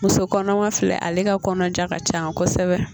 Muso kɔnɔma filɛ ale ka kɔnɔja ka ca kosɛbɛ